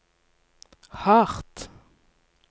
hardt